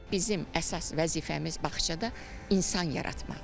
Bizim əsas vəzifəmiz bağçada insan yaratmaqdır.